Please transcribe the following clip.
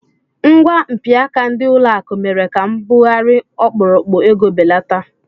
Ngwa mpịaka ndị ụlọakụ mere ka mbugharị ọkpụrụkpụ ego belata